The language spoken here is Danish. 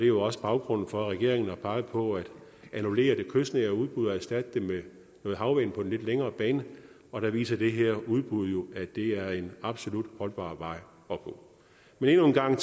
jo også baggrunden for at regeringen har peget på at annullere det kystnære udbud og erstatte det med noget havvind på den lidt længere bane og der viser det her udbud jo at det er en absolut holdbar vej at gå men endnu en gang